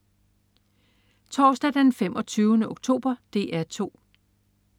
Torsdag den 25. oktober - DR 2: